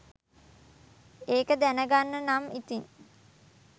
ඒක දැනගන්න නම් ඉතින්